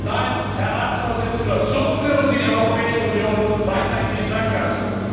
Nein, Herr Ratspräsident, so führen Sie die Europäische Union weiter in die Sackgasse!